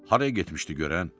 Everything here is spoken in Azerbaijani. Haraya getmişdi görən?